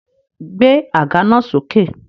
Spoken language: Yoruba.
Gbé àga náà sókè!